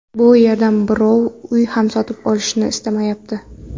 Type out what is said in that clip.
Bu yerdan birov uy ham sotib olishni ismayapti.